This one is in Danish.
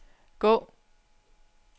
gå